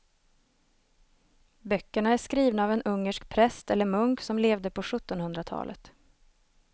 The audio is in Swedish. Böckerna är skrivna av en ungersk präst eller munk som levde på sjuttonhundratalet.